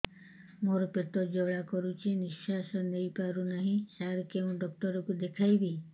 ମୋର ପେଟ ଜ୍ୱାଳା କରୁଛି ନିଶ୍ୱାସ ନେଇ ପାରୁନାହିଁ ସାର କେଉଁ ଡକ୍ଟର କୁ ଦେଖାଇବି